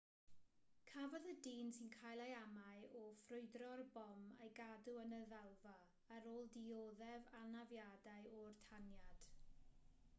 cafodd y dyn sy'n cael ei amau o ffrwydro'r bom ei gadw yn y ddalfa ar ôl dioddef anafiadau o'r taniad